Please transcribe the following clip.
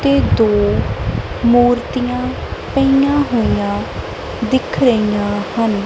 ਤੇ ਦੋ ਮੂਰਤੀਆਂ ਪਈਆਂ ਹੋਈਆਂ ਦਿਖ ਰਹੀਆਂ ਹਨ।